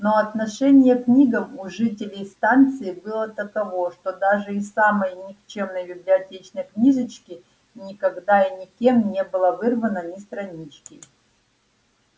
но отношение к книгам у жителей станции было таково что даже из самой никчёмной библиотечной книжочки никогда и никем не было вырвано ни странички